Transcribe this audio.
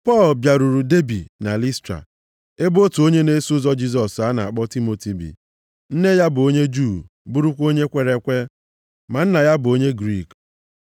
Pọl bịaruru Debi na Listra, ebe otu onye na-eso ụzọ Jisọs a na-akpọ Timoti bi. Nne ya bụ onye Juu bụrụkwa onye kwere ekwe, ma nna ya bụ onye Griik.